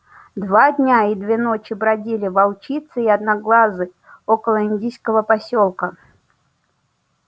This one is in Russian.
два дня и две ночи бродили волчица и одноглазый около индийского посёлка